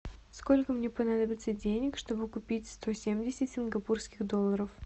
сколько мне понадобится денег чтобы купить сто семьдесят сингапурских долларов